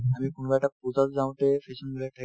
আমি কোনোবা এটা পূজাত যাওঁতে fashion বিলাক থাকে